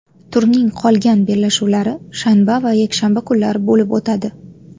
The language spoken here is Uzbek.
Turning qolgan bellashuvlari shanba va yakshanba kunlari bo‘lib o‘tadi.